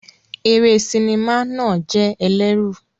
Eré sinimá náà jẹ́ ẹlẹ́rù.